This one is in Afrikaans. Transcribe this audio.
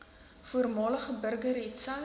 voormalige burger hetsy